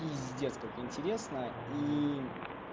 пиздец как интересно ии